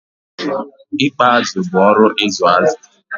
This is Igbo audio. Ikpa azụ bụ oru ịzụ azụ̀.